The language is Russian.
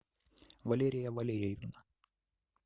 валерия валерьевна